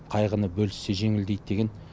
қайғыны бөліссе жеңілдейді деген